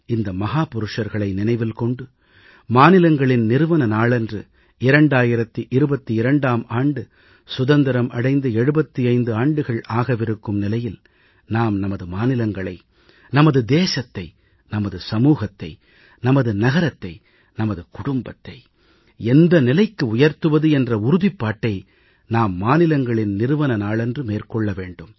இந்த மகாபுருஷர்களை நினைவில் கொண்டு மாநிலங்களின் உதய நாளன்று 2022ஆம் ஆண்டு சுதந்திரம் அடைந்து 75 ஆண்டுகள் ஆகவிருக்கும் நிலையில் நாம் நமது மாநிலங்களை நமது தேசத்தை நமது சமூகத்தை நமது நகரத்தை நமது குடும்பத்தை எந்த நிலைக்கு உயர்த்துவது என்ற உறுதிப்பாட்டை நாம் மாநிலங்களின் உதய நாளன்று மேற்கொள்ள வேண்டும்